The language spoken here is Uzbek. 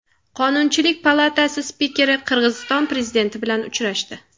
Qonunchilik palatasi spikeri Qirg‘iziston prezidenti bilan uchrashdi.